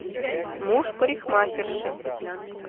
муж парикмахерши